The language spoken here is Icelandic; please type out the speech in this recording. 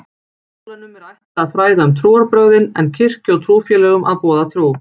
Skólanum er ætlað að fræða um trúarbrögðin en kirkju og trúfélögum að boða trú.